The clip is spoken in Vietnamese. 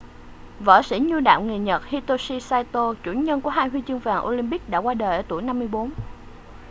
võ sĩ nhu đạo người nhật hitoshi saito chủ nhân của hai huy chương vàng olympic đã qua đời ở tuổi 54